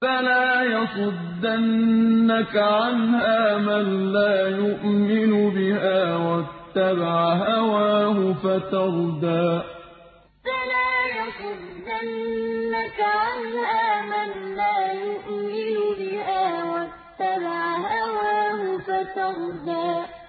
فَلَا يَصُدَّنَّكَ عَنْهَا مَن لَّا يُؤْمِنُ بِهَا وَاتَّبَعَ هَوَاهُ فَتَرْدَىٰ فَلَا يَصُدَّنَّكَ عَنْهَا مَن لَّا يُؤْمِنُ بِهَا وَاتَّبَعَ هَوَاهُ فَتَرْدَىٰ